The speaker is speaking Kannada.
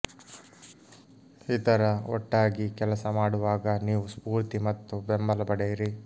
ಇತರ ಒಟ್ಟಾಗಿ ಕೆಲಸ ಮಾಡುವಾಗ ನೀವು ಸ್ಫೂರ್ತಿ ಮತ್ತು ಬೆಂಬಲ ಪಡೆಯಿರಿ